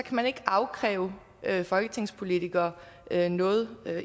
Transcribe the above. man ikke afkræve folketingspolitikere noget